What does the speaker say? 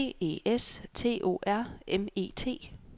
B E S T O R M E T